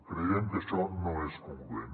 creiem que això no és congruent